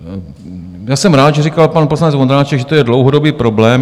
Já jsem rád, že říkal pan poslanec Vondráček, že to je dlouhodobý problém.